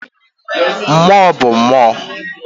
Mmụọ bụ mmụọ.